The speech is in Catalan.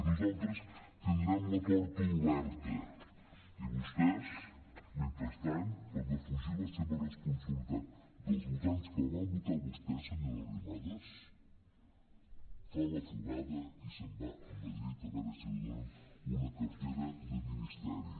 nosaltres tindrem la porta oberta i vostès mentrestant per defugir la seva responsabilitat dels votants que la van votar a vostè senyora arrimadas fa la fugada i se’n va a madrid a veure si li donen una cartera de ministeri